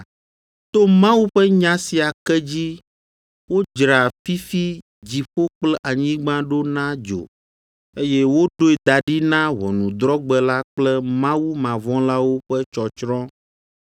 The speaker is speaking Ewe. To Mawu ƒe nya sia ke dzi wodzra fifi dziƒo kple anyigba ɖo na dzo, eye woɖoe da ɖi na ʋɔnudrɔ̃gbe la kple mawumavɔ̃lawo ƒe tsɔtsrɔ̃.